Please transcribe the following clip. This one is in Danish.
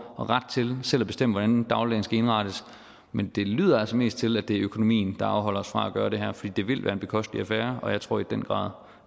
og ret til selv at bestemme hvordan dagligdagen skal indrettes men det lyder altså mest til at det er økonomien der afholder os fra at gøre det her for det vil være en bekostelig affære og jeg tror i den grad